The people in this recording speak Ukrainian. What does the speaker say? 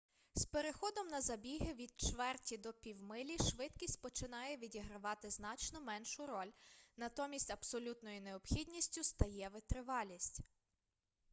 з переходом на забіги від чверті до півмилі швидкість починає відігравати значно меншу роль натомість абсолютною необхідністю стає витривалість